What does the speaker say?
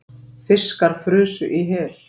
Fiskar frusu í hel